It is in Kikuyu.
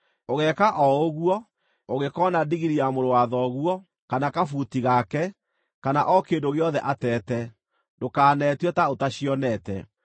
Ũgeeka o ũguo, ũngĩkoona ndigiri ya mũrũ wa thoguo, kana kabuti gake, kana o kĩndũ gĩothe atete, ndũkanetue ta ũtacionete.